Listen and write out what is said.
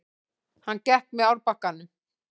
Hann gekk með árbakkanum.